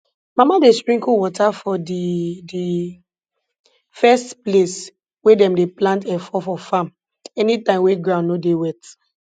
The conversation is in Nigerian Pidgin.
mama dey sprinkle wata for di di first place wey dem dey plant efo for farm anytime wey ground no dey wet